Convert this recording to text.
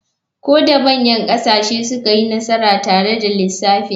Ko da manyan ƙasashe sun yi nasara tare da lissafin.